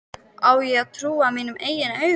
Á ég að trúa mínum eigin augum?